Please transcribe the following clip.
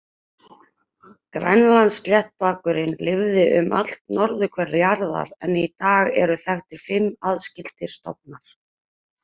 Grænlandssléttbakurinn lifði um allt norðurhvel jarðar en í dag eru þekktir fimm aðskildir stofnar.